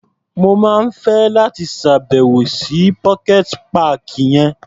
Mo máa fẹ́ láti ṣá̀bẹ̀wò sí pocket páàkì yẹn.